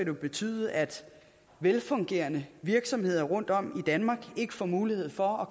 jo betyde at velfungerende virksomheder rundtom i danmark ikke får mulighed for at